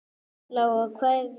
Lóa: Og hvað er rétt?